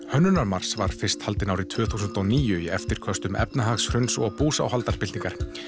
hönnunarmars var fyrst haldinn árið tvö þúsund og níu í eftirköstum efnahagshruns og búsáhaldabyltingar